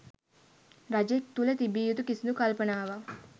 රජෙක් තුළ තිබිය යුතු කිසිදු කල්පනාවක්